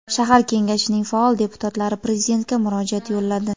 shahar kengashining faol deputatlari prezidentga murojaat yo‘lladi.